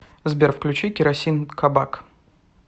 сбер включи керосин кабак